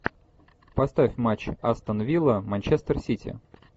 поставь матч астон вилла манчестер сити